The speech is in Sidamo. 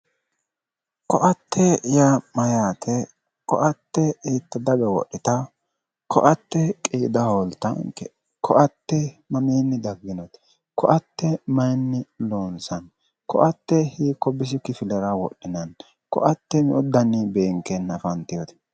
Ko'atte yaa mayyaate ko'atte hiitte daga wodhitawo ko'atte qiida hooltaanke ko'atte mamiinni dagginote ko'atte mayinni loonsanni ko'atte hiikko bisi kifilera wodhinanni ko'atte me'u daninni beenkeenna afantewote